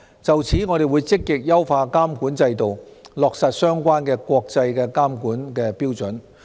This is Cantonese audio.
就此，我們會積極優化監管制度，落實相關國際監管標準。